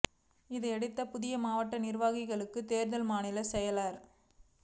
இதையடுத்து புதிய மாவட்ட நிா்வாகிகளுக்கான தோ்தல் மாநிலச் செயலா் அ